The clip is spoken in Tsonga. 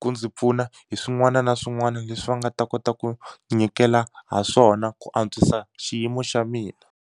ku ndzi pfuna hi swin'wana na swin'wani leswi va nga ta kota ku nyikela ha swona ku antswisa xiyimo xa mina.